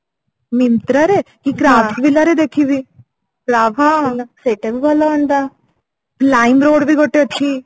Mytra ରେ Craftsvilla ରେ ଦେଖିବି ସେଇଟା ବି ଭଲ ହୁଅନ୍ତା lime road ବି ଗୋଟେ ଅଛି